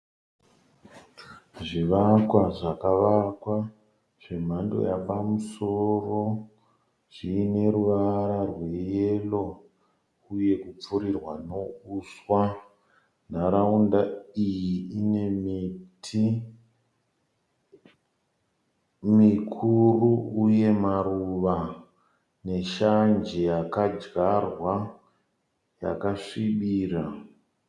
Zvivakwa zvakavakwa zvemhando yapamusoro, zviine ruvara rweyero uye kupfurirwa neuswa. Nharaunda iyi ine miti mikuru uye maruva neshanje yakadyarwa yakasvibira.